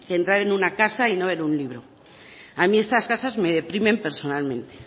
que entrar en una casa y no ver un libro a mí estas casas me deprimen personalmente